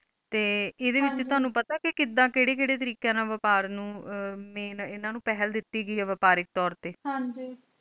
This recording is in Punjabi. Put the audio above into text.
ਤੇ ਐਦ੍ਹੇ ਵਿਚ ਤੈਨੂੰ ਪਤਾ ਕੇ ਕਿਧ ਕੈਰੇ ਕੈਰੇ ਤਰੀਕਿਆਂ ਨਾਲ ਬਪਾਰ ਨੂੰ ਮੀਆਂ ਐਨਾ ਨੂ main ਦਿਤੀ ਗਈ ਇਹ ਬਪਾਰੀ ਤੋਰ ਤੇ ਹਨ ਜੀ